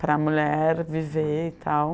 Para a mulher viver e tal.